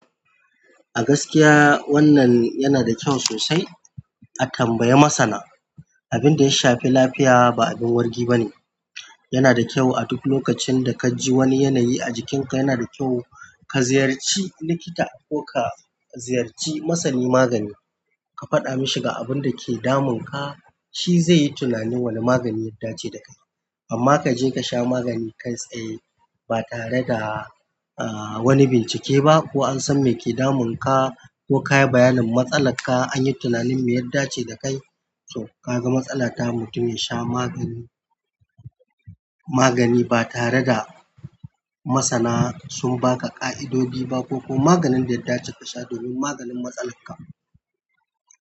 A gaskiya wannan yana da kyau sosai a tambayi masana. Abin da ya shafi lafiya ba abin wargi bane. Yana da kyau a duk lokacin da ka ji wani yanayi a jikinka yana da kyau ka ziyarci likita ko ka ziyarci masani magani ka faɗa mashi ga abun da ke damunka. Shi zai yi tunani wane magani ya dace da kai. Amma ka je ka sha magani kai tsaye ba tare da, ah, wani bincike ba ko an san me ke damunka ko ka yi bayanin matsalar ka an yi tunanin me ya dace da kai, to ka ga matsala ta mutum ya sha magani, magani ba tare da masana sun ba ka ƙa'idodi ba ko maganin da ya dace ka sha domin maganin matsalar ka.